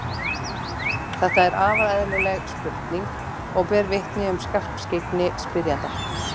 Þetta er afar eðlileg spurning og ber vitni um skarpskyggni spyrjanda.